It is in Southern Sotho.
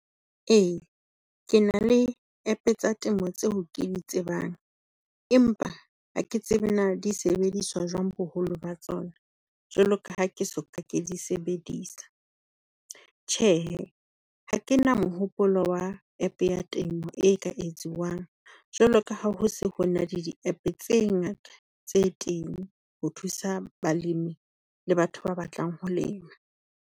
Ee ke na le App-e tsa temo tseo ke di tsebang, empa ha ke tsebe na di sebediswa jwang boholo ba tsona jwalo ka ha ke soka ke di sebedisa. Tjhehe ha ke na mohopolo wa App-e ya temo e ka etsiwang, jwalo ka ha ho se ho na le di-App-e tse ngata tse teng ho thusa balimi le batho ba batlang ho lema.